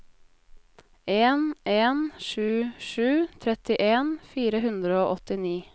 en en sju sju trettien fire hundre og åttini